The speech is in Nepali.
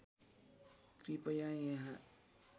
कृपया यहाँ